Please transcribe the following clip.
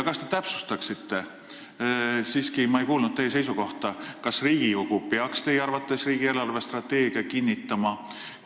Kas te täpsustaksite – ma siiski ei kuulnud teie seisukohta –, kas Riigikogu peaks teie arvates riigi eelarvestrateegia kinnitama?